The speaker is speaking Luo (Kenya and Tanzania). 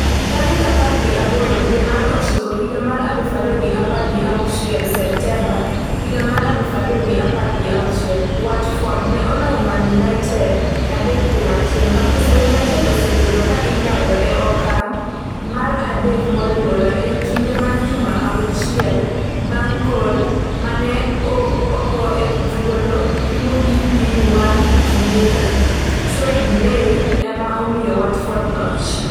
tarik apar gi aboro dwe mar ochiko higa mar aluf ariyo gi apar gi auchiel Septemba 2016 .Watford ne oloyo Man United adek kuom achiel. Manchester United osebedo ka iloyo e okang' mar adek moluwore ei kinde mar juma achiel bang' gol mane ogo e thuolo mogik gi Juan Zuniga, Troy Deeney ema omiyo Watford loch.